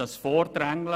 das Vordrängeln;